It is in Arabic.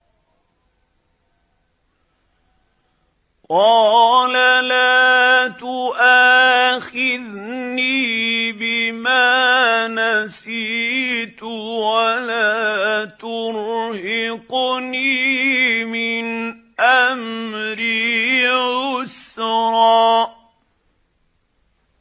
قَالَ لَا تُؤَاخِذْنِي بِمَا نَسِيتُ وَلَا تُرْهِقْنِي مِنْ أَمْرِي عُسْرًا